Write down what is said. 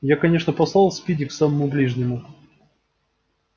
я конечно послал спиди к самому ближнему